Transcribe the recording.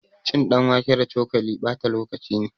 Cin ɗanwake da cokali ɓata lokaci ne